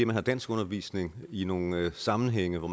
man har danskundervisning i nogle sammenhænge hvor